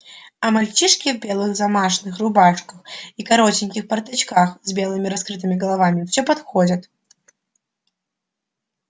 а мальчишки в белых замашных рубашках и коротеньких порточках с белыми раскрытыми головами всё подходят